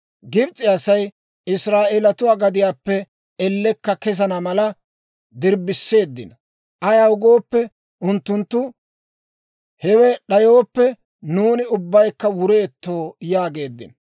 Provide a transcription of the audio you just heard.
Gibs'e Asay Israa'eelatuu gadiyaappe ellekka kesana mala dirbbiseeddino. Ayaw gooppe, unttunttu, «Hewe d'ayooppe, nuuni ubbaykka wureetto» yaageeddino.